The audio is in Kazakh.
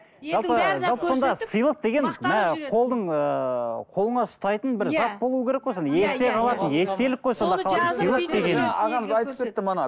сыйлық деген мына қолдың ыыы қолыңа ұстайтын бір зат болу керек қой сонда